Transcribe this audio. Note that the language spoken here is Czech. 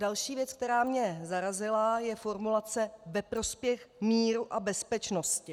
Další věc, která mě zarazila, je formulace "ve prospěch míru a bezpečnosti".